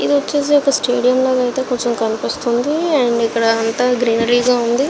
ఇది వచేసి వక స్టేడియం లాగా ఐతే కనిపెస్తునది అండ్ ఇక్కడ అంత గ్రీనరీ గా ఉనదీ.